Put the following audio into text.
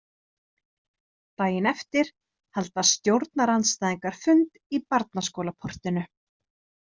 Daginn eftir halda stjórnarandstæðingar fund í barnaskólaportinu.